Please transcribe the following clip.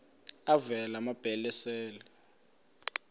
avela amabele esel